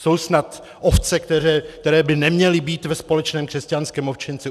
Jsou snad ovce, které by neměly být ve společném křesťanském ovčinci?